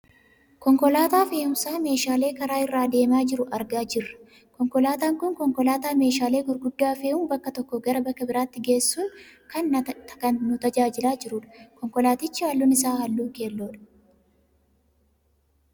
Konkolaataa fe'umsa meeshaalee karaa irra deemaa jiru argaa jirra. Konkolaataan kun konkolaataa meeshaalee gurguddaa fe'uun bakka tokkoo gara bakka biraatti geessuun kan nu tajaajilaa jirudha. Konkolaatichi halluun isaa halluu keelloodha.